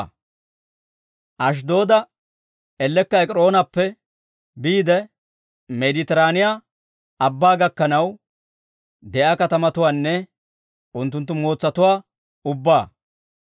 Ashddooda ellekka Ek'iroonappe biide, Meeditiraaniyaa Abbaa gakkanaw de'iyaa katamatuwaanne unttunttu mootsatuwaa ubbaa.